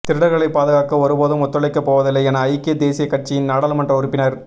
திருடர்களை பாதுகாக்க ஒருபோதும் ஒத்துழைக்கப்போவதில்லை என ஐக்கிய தேசிய கட்சியின் நாடாளுமன்ற உறுப்பினர்